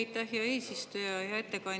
Aitäh, hea eesistuja!